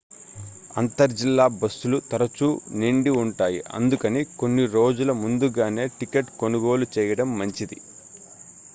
అంతర్ జిల్లా బస్సులు తరచూ నిండి ఉంటాయి అందుకని కొన్ని రోజుల ముందుగానే టికెట్ కొనుగోలు చేయడం మంచిది